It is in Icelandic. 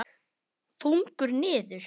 Þungur niður.